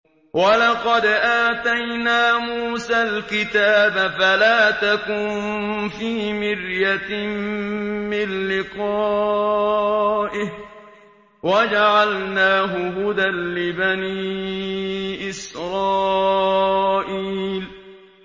وَلَقَدْ آتَيْنَا مُوسَى الْكِتَابَ فَلَا تَكُن فِي مِرْيَةٍ مِّن لِّقَائِهِ ۖ وَجَعَلْنَاهُ هُدًى لِّبَنِي إِسْرَائِيلَ